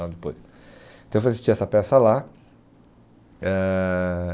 Então eu fui assistir essa peça lá. Ãh